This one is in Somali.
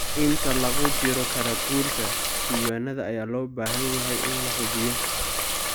Inta lagu jiro kala guurka, diiwaanada ayaa loo baahan yahay in la hubiyo.